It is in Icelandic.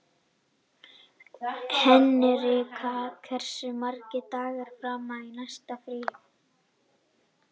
Henrika, hversu margir dagar fram að næsta fríi?